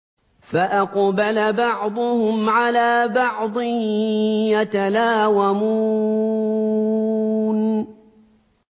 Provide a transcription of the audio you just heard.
فَأَقْبَلَ بَعْضُهُمْ عَلَىٰ بَعْضٍ يَتَلَاوَمُونَ